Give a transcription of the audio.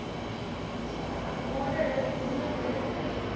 nadere besonderhede tree